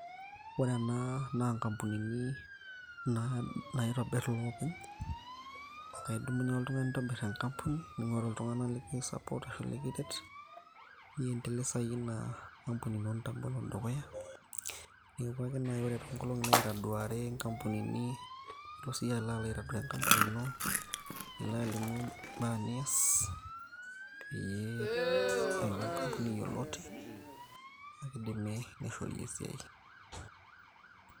ore ena naa inkampunini naitobirr ilukuny ekaidumunye oltung'ani nintobirr enkampuni ning'oru iltung'anak liki support ashu likiret niendelesayie ina ampunio ino dukuya epuo ake naaji ore toonkolongi naitaduari inkampunini nilo siiyie alo aitaduaya enkampuni ino nilo alimu imbaa niyas peyie eaku enkampuni yioloti akidimi nishori esiai.